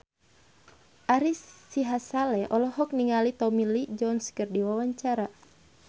Ari Sihasale olohok ningali Tommy Lee Jones keur diwawancara